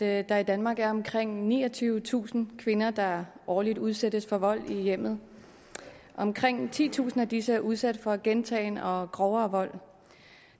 at der i danmark er omkring niogtyvetusind kvinder der årligt udsættes for vold i hjemmet omkring titusind af disse er udsat for gentagen og grovere vold